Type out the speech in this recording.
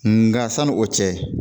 Nga sanni o cɛ